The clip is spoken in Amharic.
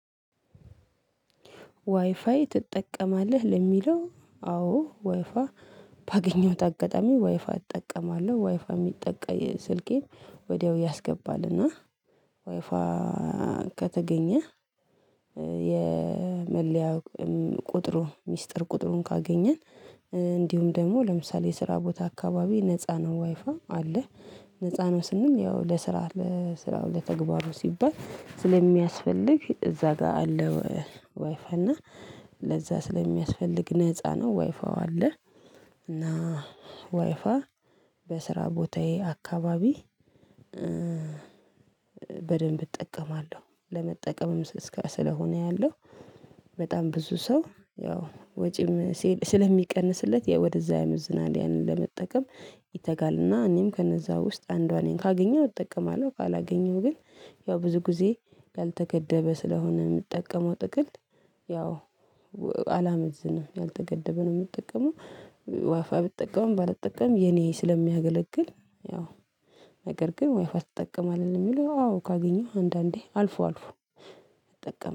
ዋይፋይ ትጠቀማለህ? ለሚለው አዎ ዋይፋ ባገኘሁት አጋጣሚ ዋይፋ እጠቀማለሁ። ዋይፋ የሚጠቀ ስልኬን ወዲያው ያስገባልና ዋይፋ ከተገኘ የመለያ ቁጥሩ፣ ሚስጥር ቁጥሩን ካገኘን እንዲሁም ደግሞ ለምሳሌ የስራ ቦታ አካባቢ ነፃ ነው ዋይፋ አለ። ነፃ ነው ስንም ያው ለስራ፣ ለስራው ለተግባሩ ሲባል ስለሚያስፈልግ እዛ ጋር አለው። ዋይፋ እና ለዛ ስለሚያስፈልግ ነፃ ነው ዋይፋው አለ። እና ዋይፋይ በስራ ቦታዬ አካባቢ በደንብ እጠቀማለሁ። ለመጠቀምም እስከ፣ ስለሆነ ያለው በጣም ብዙ ሰው ያው ወጪም ስለሚቀንስለት ወደዛ ያመዝናል ያንን ለመጠቀም ይተጋልና እኔም ከነዛ ውስጥ አንዷ ነኝ። ካገኘሁ እጠቀማለሁ፣ ካላገኘሁ ግን ያው ብዙ ጊዜ ያልተገደበ ስለሆነ የምትጠቀመው ጥቅል፣ ያው አላመዝንም። ያልተገደበ ነው የምትጠቀመው። ዋይፋይ ብትጠቀምም፣ ባልጠቀምም የኔ ስለሚያገለግል ያው፣ ነገር ግን ወይፋ ትጠቀማለህ የሚለው አዎ ካገኘው አንዳንዴ አልፎ አልፎ እጠቀማለሁ።